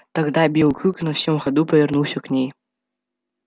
тогда белый клык на всём ходу повернулся к ней